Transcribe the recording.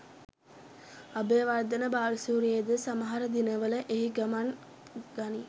අබේවර්ධන බාලසූරියද සමහර දිනවල එහි ගමන් ගනී.